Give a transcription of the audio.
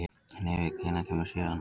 Hnefill, hvenær kemur sjöan?